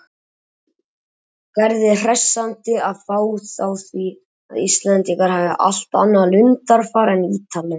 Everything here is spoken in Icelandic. Gerði hressandi að fá þá því að Íslendingar hafi allt annað lundarfar en Ítalir.